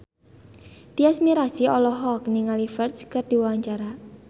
Tyas Mirasih olohok ningali Ferdge keur diwawancara